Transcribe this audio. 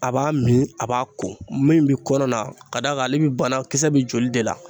A b'a min a b'a ko, min bi kɔnɔ la ka d'a kan ale bi banakisɛ be joli de la.